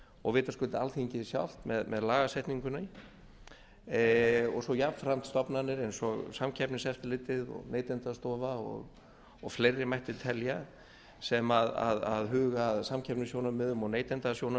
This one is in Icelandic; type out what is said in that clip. og vitaskuld alþingi sjálft með lagasetningunni og svo jafnframt stofnanir eins og samkeppniseftirlitið neytendastofa og fleiri mætti telja sem huga að samkeppnissjónarmiðum og